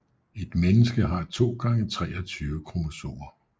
Et menneske har 2 gange 23 kromosomer